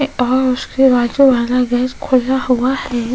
और उसके बाजू वाला गैस खुला हुआ है।